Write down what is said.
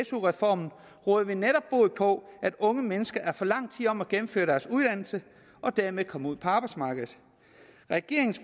su reformen råder vi netop bod på at unge mennesker er for lang tid om at gennemføre deres uddannelse og dermed komme ud på arbejdsmarkedet regeringens